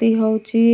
ତୀ ହେଉଛି